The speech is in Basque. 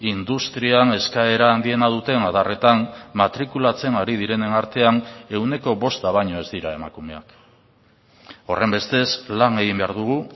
industrian eskaera handiena duten adarretan matrikulatzen ari direnen artean ehuneko bosta baino ez dira emakumeak horrenbestez lan egin behar dugu